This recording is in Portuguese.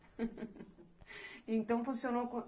Então, funcionou.